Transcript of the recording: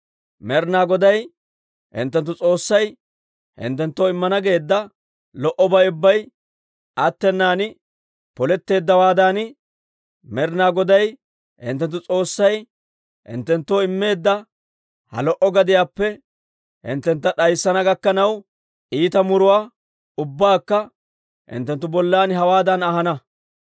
Med'ina Goday hinttenttu S'oossay hinttenttoo immana geedda lo"obay ubbay attenan poletteeddawaadan, Med'ina Goday hinttenttu S'oossay hinttenttoo immeedda ha lo"o gadiyaappe hinttentta d'ayssana gakkanaw, iita muruwaa ubbaakka hinttenttu bollan hewaadan ahana.